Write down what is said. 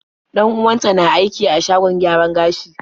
Dan-uwanta na aiki a shagon gyaran gashi.